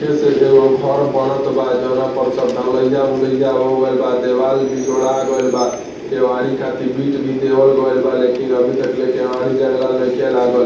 कैसे एगो घर बनत बा जौना पर सब ढलाइया-ओलैया हो गइल बा। देवाल भी जोड़ा गैल बा। केवाड़ी खातिर बिट भी देवल गइल बा लेकिन अभी तक ले केवाड़ी जंगला नईखें लागल।